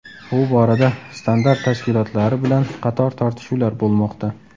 Bu borada standart tashkilotlari bilan qator tortishuvlar bo‘lmoqda.